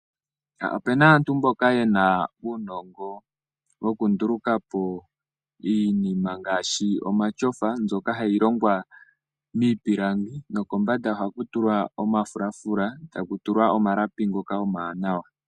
Opuna aantu mboka yena uunongo wokundulukapo iinima ngaashi omatyofa mbyoka hayi longwa miipilangi nokombanda ohaku tulwa omafulafula , etaku tulwa omalapi ngoka omawanawa.